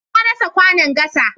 Na rasa kwanon gasa.